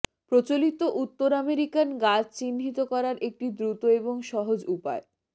প্রচলিত উত্তর আমেরিকান গাছ চিহ্নিত করার একটি দ্রুত এবং সহজ উপায়